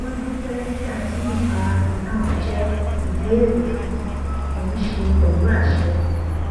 wọn dúpẹ nígbà tí ìfarahàn náà jẹ ìbéèrè fún kì í ṣe pẹlú àṣẹ